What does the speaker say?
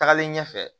Tagalen ɲɛfɛ